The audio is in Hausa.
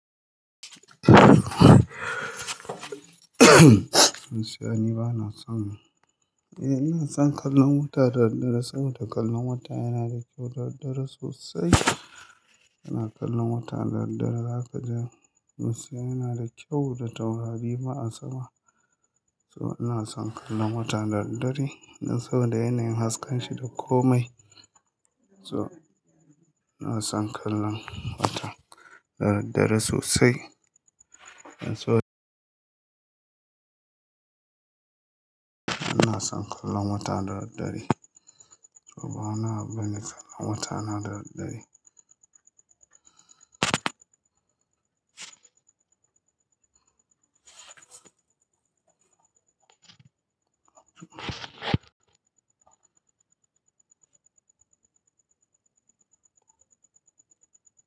Musiya ni bana son. Eh ina son kallon wata da daddare saboda kallon wata yana da kyau da daddare sosai. Ina kallon wata da daddare, zaka ji musiya yana da kyau da taurari ba a sama. So ina son kallon wata da daddare dan saboda yanayin hasken shi da komai. So ina son kallon wata da daddare sosai. Dan so ina son kallon wata da daddare. So ba wani abu bane kallon wata na da daddare.